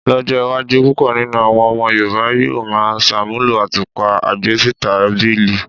Ló̩jó̩ iwájú púpò̩ nínú àwo̩n o̩mo̩ Yorùbá yóò máa s̩àmúlò àtúpà agbésítàbìlì.